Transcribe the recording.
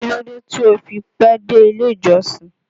Kí ló dé tí ó fi pẹ́ dé ilé ìjọsìn?